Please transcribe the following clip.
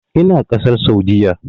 Ina ƙasar Saudiyya.